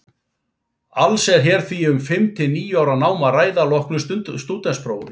Alls er hér því um fimm til níu ára nám að ræða að loknu stúdentsprófi.